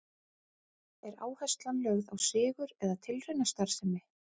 Er áherslan lögð á sigur eða tilraunastarfsemi?